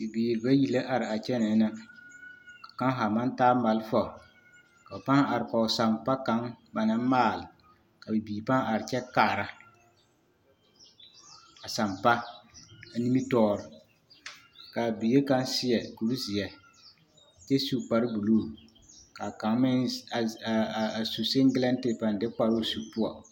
Bibiiri bayi la araa kyɛnɛɛ na ka kaŋ haa maŋ taa malfa ka ba pãã are kɔge sampa kaŋa ba naŋ maale ka bibiiri pãã are kyɛ kaara a sampa ane nimitɔɔre k'a bie kaŋ seɛ kuri zeɛ kyɛ su kpare buluu ka kaŋ meŋ a su siŋgelɛte a pãã de kparoo su poɔ.